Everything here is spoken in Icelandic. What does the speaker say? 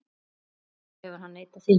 Sjálfur hefur hann neitað því.